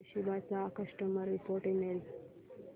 Toshiba चा customer support email